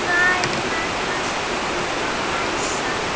Hvenær varst þú á NASA?